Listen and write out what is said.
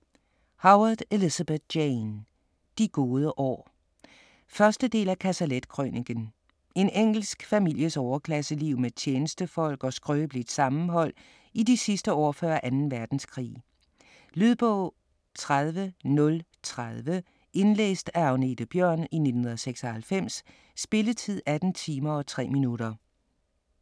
Howard, Elizabeth Jane: De gode år 1. del af Cazaletkrøniken. En engelsk families overklasseliv med tjenestefolk og skrøbeligt sammenhold i de sidste år før 2. verdenskrig. Lydbog 30030 Indlæst af Agnethe Bjørn, 1996. Spilletid: 18 timer, 3 minutter.